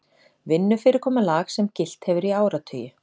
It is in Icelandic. Vinnufyrirkomulag sem gilt hefur í áratugi